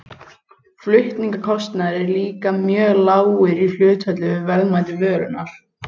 flutningskostnaður er líka mjög lágur í hlutfalli við verðmæti vörunnar